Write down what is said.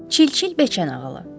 Çil-çil bəcənağılı.